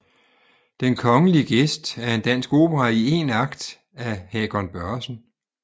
Den Kongelige Gæst er en dansk opera i 1 akt af Hakon Børresen